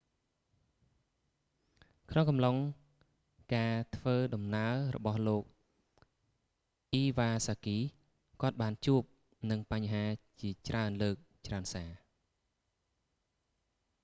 ក្នុងអំឡុងការធ្វើដំណើររបស់លោក អ៊ីវ៉ាសាគី iwasaki គាត់បានជួបនឹងបញ្ហាជាច្រើនលើកច្រើនសា